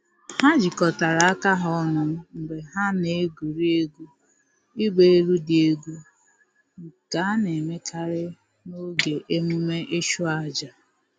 Ha jikọtara aka ha ọnụ mgbe ha na-egwuri egwu ịgba elu dị egwu, nke a na-emekarị n’oge emume ịchụ aja